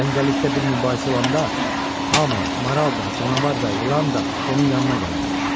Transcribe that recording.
Cəngəllikdə bir mübahisə olanda hamı, maral da, canavar da, ilan da onun yanına gələrmiş.